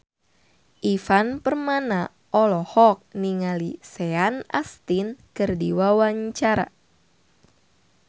Ivan Permana olohok ningali Sean Astin keur diwawancara